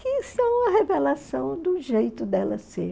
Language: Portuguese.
que são a revelação do jeito dela ser.